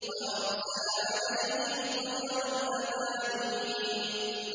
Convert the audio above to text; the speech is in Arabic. وَأَرْسَلَ عَلَيْهِمْ طَيْرًا أَبَابِيلَ